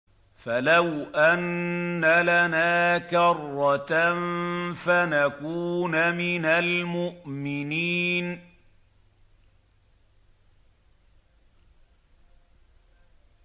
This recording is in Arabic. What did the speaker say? فَلَوْ أَنَّ لَنَا كَرَّةً فَنَكُونَ مِنَ الْمُؤْمِنِينَ